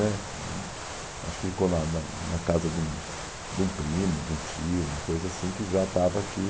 né hum, acho que ficou na na na casa de um de um primo, de um tio, uma coisa assim, que já estava aqui.